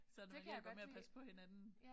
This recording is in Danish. Så når man vil godt med at passe på hinanden